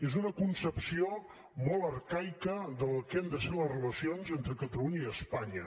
és una concepció molt arcaica del que han de ser les relacions entre catalunya i espanya